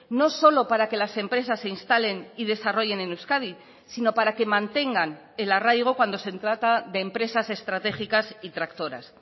no solo para que las empresas se instalen y desarrollen en euskadi sino para que mantengan el arraigo cuando se trata de empresas estratégicas y tractoras